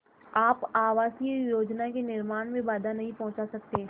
आप आवासीय योजना के निर्माण में बाधा नहीं पहुँचा सकते